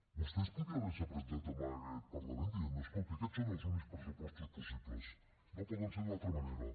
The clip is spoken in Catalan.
vostè podia haver se presentat en aquest parlament dient escolti aquests són els únics pressupostos possibles no poden ser d’una altra manera